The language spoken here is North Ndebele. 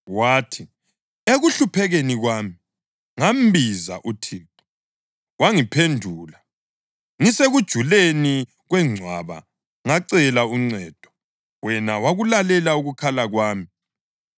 Wathi: “Ekuhluphekeni kwami ngambiza uThixo, wangiphendula. Ngisekujuleni kwengcwaba ngacela uncedo, wena wakulalela ukukhala kwami.